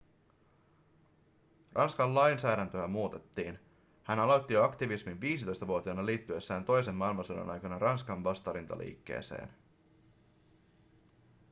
ranskan lainsäädäntöä muutettiin hän aloitti aktivismin jo 15-vuotiaana liittyessään toisen maailmansodan aikana ranskan vastarintaliikkeeseen